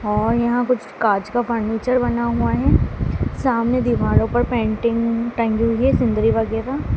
और यहां कुछ कांच का फर्नीचर बना हुआ है सामने दीवारों पर पेंटिंग टंगी हुई है सिनरी वगैरा--